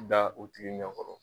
da la tigi ɲɛkɔrɔ.